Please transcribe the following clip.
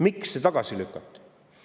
Miks see tagasi lükati?